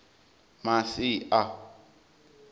masia